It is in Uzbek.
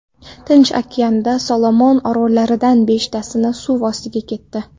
Tinch okeanida Solomon orollaridan beshtasi suv ostiga ketdi.